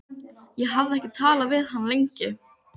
Ég hafði ekki talað við hann lengi.